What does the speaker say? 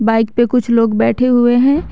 Bike पे कुछ लोग बैठे हुए है।